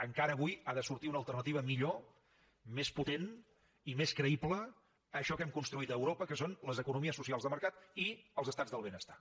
encara avui ha de sortir una alternativa millor més potent i més creïble a això que hem construït a europa que són les economies socials de mercat i els estats del benestar